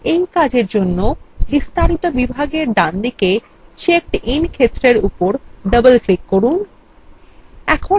এই জন্য বিস্তারিত বিভাগের ডানদিকে checkedin ক্ষেত্রের উপর ডবল click করুন